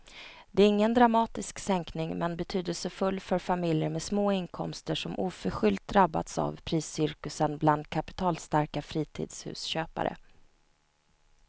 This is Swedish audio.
Det är ingen dramatisk sänkning men betydelsefull för familjer med små inkomster som oförskyllt drabbats av priscirkusen bland kapitalstarka fritidshusköpare.